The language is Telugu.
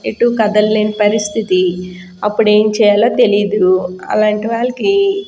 ఎటు కధలేని లేని ప్రసిస్తి అపుడు ఎం చెయ్యాలో తెలియదు అలంటి వాళ్ళకి --